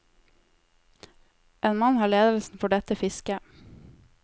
En mann har ledelsen for dette fisket.